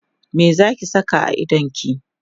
me Zaki Saka a idonki?